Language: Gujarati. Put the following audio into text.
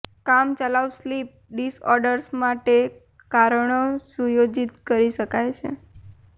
કામચલાઉ સ્લીપ ડિસઓર્ડર્સ માટે કારણો સુયોજિત કરી શકાય છે